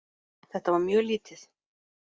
Þetta var mjög lítið.